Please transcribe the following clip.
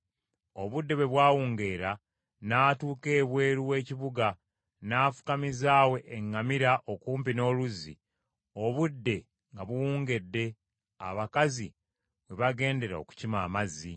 Obudde bwe bwawungeera n’atuuka ebweru w’ekibuga n’afukamiza awo eŋŋamira okumpi n’oluzzi obudde nga buwungedde abakazi we bagendera okukima amazzi.